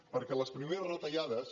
perquè les primeres retallades